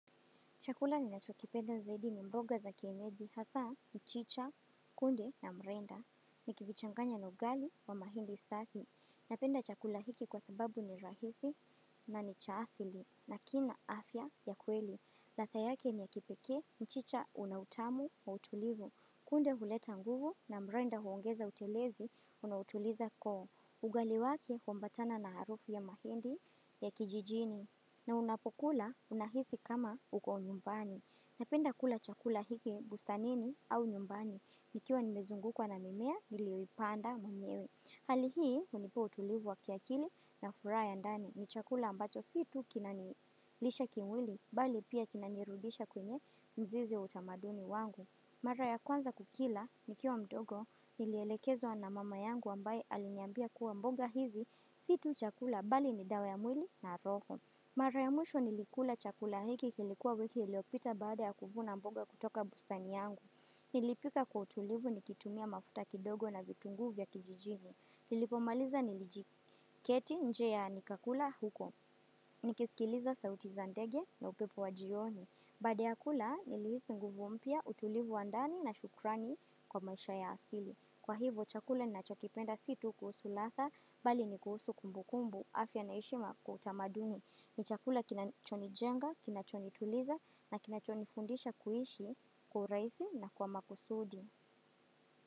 Chakula ninacho kipenda zaidi ni mboga za kienyeji hasa mchicha kunde na mrenda nikivichanganya na ugali wa mahindi safi. Napenda chakula hiki kwa sababu ni rahisi na ni cha asili na kina afya ya kweli. Ladha yake ni ya kipekee mchicha una utamu wa utulivu kunde huleta nguvu na mrenda huongeza utelezi unautuliza koo. Ugali wake huambatana na harufu ya mahindi ya kijijini na unapokula unahisi kama uko nyumbani. Napenda kula chakula hiki bustanini au nyumbani. Nikiwa nimezungukwa na mimea niliyoipanda mwenyewe. Hali hii hunipa utulivu wa kiakili na furaha ya ndani ni chakula ambacho si tu kina nilisha kimwili bali pia kina nirudisha kwenye mzizi wa utamaduni wangu mara ya kwanza kukila nikiwa mdogo nilielekezwa na mama yangu ambaye aliniambia kuwa mboga hizi si tu chakula bali pia dawa ya mwilo na roho. Mara ya mwisho nilikula chakula hiki kilikuwa wiki iliyopita baada ya kuvuna mboga kutoka bustani yangu. Nilipika kwa utulivu nikitumia mafuta kidogo na vitunguu vya kijijini. Nilipomaliza nilijiketi nje ya nikakula huko. Nikisikiliza sauti za ndege na upepo wa jioni. Baada ya kula nilihisi nguvu mpya utulivu wa ndani na shukrani kwa maisha ya asili. Kwa hivo chakula ninacho kipenda si tu kuhusu ladha bali ni kuhusu kumbu kumbu afya na heshima kwa utamaduni. Ni chakula kinacho nijenga, kinacho nituliza na kinacho nifundisha kuishi kwa urahisi na kwa makusudi.